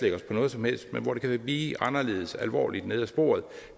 noget som helst men hvor det kan blive anderledes alvorligt ned ad sporet